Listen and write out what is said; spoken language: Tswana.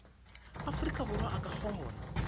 aforika borwa a ka kgona